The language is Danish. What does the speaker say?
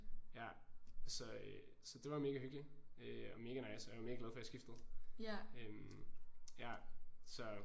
Ja så øh så det var mega hyggeligt øh og mega nice og jeg var mega glad for at have skiftet ja så